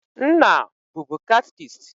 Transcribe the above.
Nna bubu catchist.